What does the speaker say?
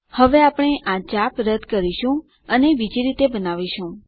હવે આપણે આ ચાપ રદ કરીશું અને બીજી રીતે બનાવીશું